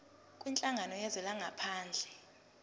kwinhlangano yezwe langaphandle